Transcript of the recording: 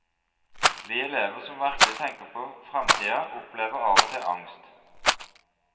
Vi elever som virkelig tenker på fremtiden, opplever av og til angst.